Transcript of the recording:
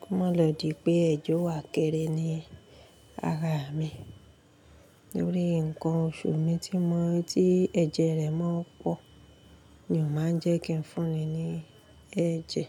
Kí ó má lòdì pé ẹ̀jẹ̀ ó wà kéré ní ara mi. Nítorí ǹkan òṣù mi tí mọ tí ẹ̀jẹ̀ rẹ̀ máa ń pọ̀ ni ó má ń jẹ́ kí n fún ni ní ẹ̀jẹ̀.